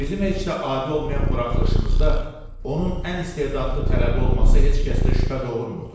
Bizim heç də adi olmayan buraxılışımızda onun ən istedadlı tələbə olması heç kəsdə şübhə doğurmurdu.